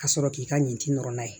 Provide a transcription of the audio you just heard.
Ka sɔrɔ k'i ka nin ci nɔrɔ n'a ye